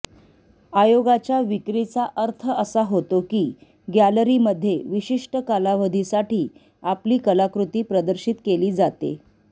आयोगाच्या विक्रीचा अर्थ असा होतो की गॅलरीमध्ये विशिष्ट कालावधीसाठी आपली कलाकृती प्रदर्शित केली जाते